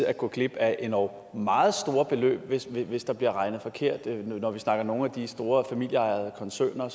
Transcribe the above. at gå glip af endog meget store beløb hvis hvis der bliver regnet forkert når vi snakker om nogle af de store familieejede koncerner